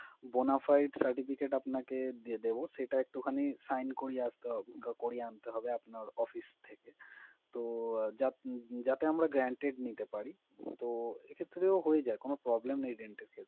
Bonafide certificate আপনাকে দিয়ে দিবো, সেটা একটুখানি sign করিয়ে আসতে হবে, করিয়ে আনতে হবে office থেকে। তো যাত~ যাতে আমরা guaranteed নিতে পারি। তো এক্ষেত্রেও হয়ে যায়, কোনো problem নেই loan পেতে।